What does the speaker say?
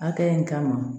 Hakɛ in kama